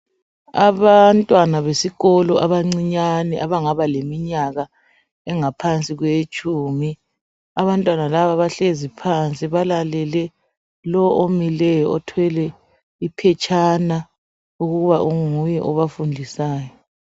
Abantwana besikolo abancinyane abangaba leminyaka engaphansi kwetshumi. Abantwana laba bahlezi phansi balalele lowo omileyo othwele iphetshana ukuba nguye obafundisayo.